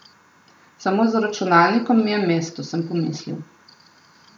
Samo za računalnikom mi je mesto, sem pomislil.